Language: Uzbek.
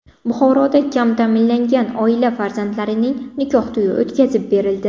Buxoroda kam ta’minlangan oila farzandlarining nikoh to‘yi o‘tkazib berildi.